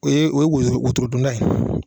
O ye o ye wo wotoro donda ye